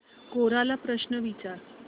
कोरा ला प्रश्न विचार